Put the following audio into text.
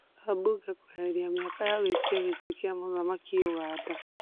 Ambunge kweberia mĩaka ya gwĩtia gĩtĩ kĩa muthamaki Uganda